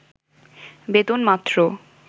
বেতন মাত্র